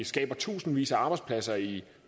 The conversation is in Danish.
skaber tusindvis af arbejdspladser i